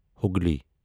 Hooghly